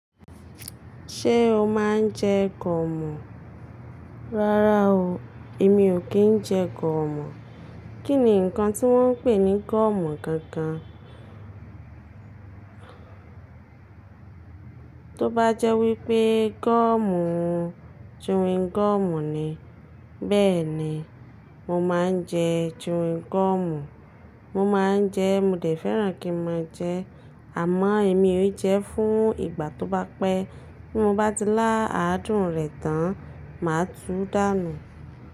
Ṣé o máa ń jẹ gọ̀mù? Rárá o, èmi ò kí ń jẹ gọ̀mù. Kí ni nǹkan tí wọ́n ń pè ní gọ̀mù gangan? Tóbájẹ́ wípé gọ̀mù ń, chewing gọ̀mù ni, bẹ́ẹ̀ni mo máa ń jẹ chewing gọ̀mù. Mo máa ń jẹ, mo dẹ̀ fẹ́ràn kí mo jẹ, àmọ́ èmi ó jẹ fún ìgbà tó bá pẹ́. Bí mo bá ti lá àádùn rẹ̀ tán, màá tú dànù.